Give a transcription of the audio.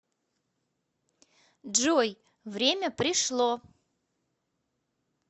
джой время пришло